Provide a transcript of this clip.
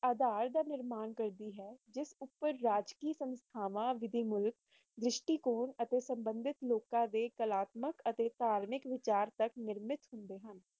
ਆਧਾਰ ਦਾ ਨਿਰਮਾਣ ਲੇਖ